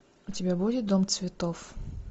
у тебя будет дом цветов